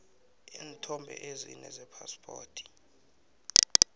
iinthombe ezine zephaspoti